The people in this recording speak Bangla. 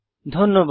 ধন্যবাদ